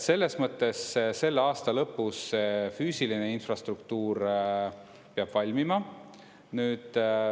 Selles mõttes selle aasta lõpus füüsiline infrastruktuur peab valmima.